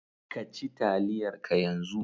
Ka ci taliyar ka yanzu!